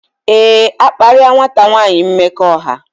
Éè, akparia nwata nwanyi mmekọahụ